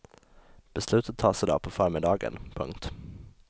Beslutet tas i dag på förmiddagen. punkt